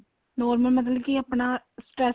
normal ਮਤਲਬ ਕੀ ਆਪਣਾ stress